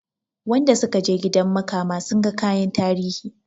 Wanda sukaje gidan makama sunga kayan tarihi